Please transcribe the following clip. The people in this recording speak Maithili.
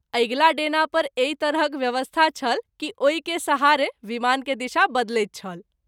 अगिला डेना पर एहि तरहक व्यवस्था छल कि ओहि के सहारे विमान के दिशा बदलैत छल।